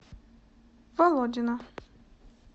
володина